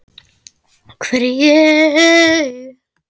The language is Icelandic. hvar er ég?